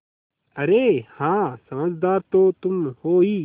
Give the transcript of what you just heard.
अरे हाँ समझदार तो तुम हो ही